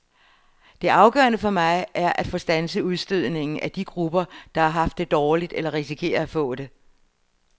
Det afgørende for mig er at få standset udstødningen af de grupper, der har haft det dårligt eller risikerer at få det.